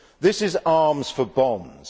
This is arms for bonds.